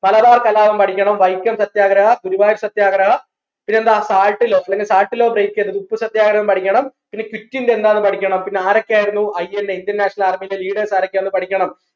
മലബാർ കലാപം പഠിക്കണം വൈക്കം സത്യാഗ്രഹ ഗുരുവായൂർ സത്യാഗ്രഹ പിന്നെന്താ salt law പിന്നെ salt law break ചെയ്തത് ഉപ്പുസത്യാഗ്രഹം പഠിക്കണം പിന്നെ quit India എന്താന്ന് പഠിക്കണം പിന്നെ ആരൊക്കെയായിരുന്നു INA Indian national army ന്റെ leaders ആരൊക്കെയായിരുന്നുന്ന് പഠിക്കണം